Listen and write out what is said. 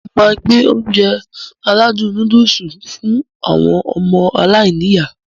Mo máá gbé Ounjẹ aládùn nóódùsì fún àwọn ọmọ aláiníyá